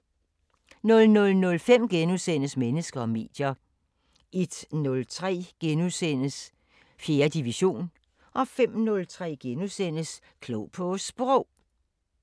00:05: Mennesker og medier * 01:03: 4. division * 05:03: Klog på Sprog *